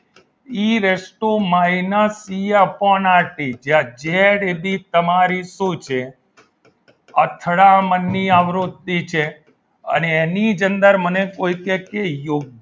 e raise to minus E upon R T જ્યાં Z A B તમારી શું છે અથડામણની આવૃત્તિ છે અને એની જ અંદર મને કોઈક યોગ્ય